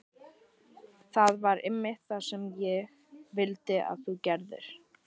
Það var einmitt það sem ég vildi að þú gerðir.